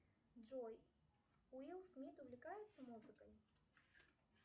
джой уилл смит увлекается музыкой